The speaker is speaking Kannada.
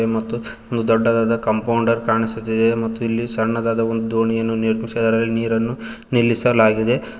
ಮತ್ತು ಒಂದು ದೊಡ್ಡದಾದ ಕಾಂಪೌಂಡರ್ ಕಾಣಿಸುತ್ತಿದೆ ಮತ್ತು ಇಲ್ಲಿ ಸಣ್ಣದಾದ ಒಂದು ದೋಣಿಯನ್ನು ನಿರ್ಮಿಸಲಾಗಿದೆ ನೀರನ್ನು ನಿಲ್ಲಿಸಲಾಗಿದೆ.